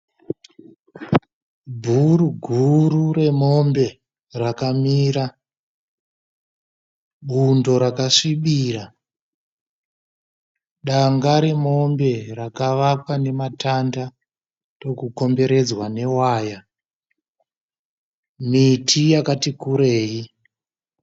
Bhuru guru remombe rakamira. Bundo rakasvibira. Danga remombe rakavakwa nematanda ndokukomberedzwa newaya. Miti yakati kurei.